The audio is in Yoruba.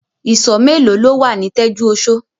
Ìsọ̀ mélòó lo wà ní Tẹ́júoṣó?